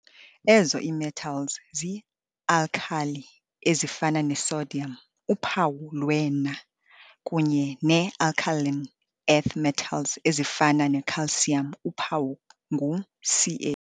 Ezo ii-metals zii-alkali ezifana ne-sodium, uphawu lwe-Na, kunye nee-alkaline earth metals ezifana ne-calcium, uphawu ngu-Ca.